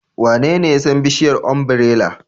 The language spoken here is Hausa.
Wanene ya san bishiyar ombirela?